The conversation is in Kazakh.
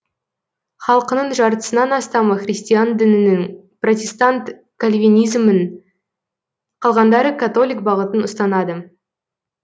халқының жартысынан астамы христиан дінінің протестант кальвинизмін қалғандары католик бағытын ұстанады